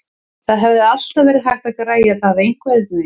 Það hefði alltaf verið hægt að græja það einhvernveginn.